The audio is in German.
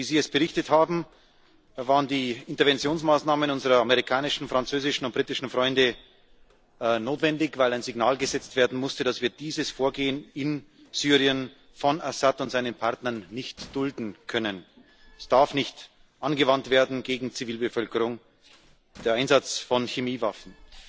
So wie Sie es berichtet haben, waren die Interventionsmaßnahmen unserer amerikanischen, französischen und britischen Freunde notwendig, weil ein Signal gesetzt werden musste dass wir dieses Vorgehen in Syrien von Assad und seinen Partnern nicht dulden können. Der Einsatz von Chemiewaffen darf nicht gegen Zivilbevölkerung angewandt werden.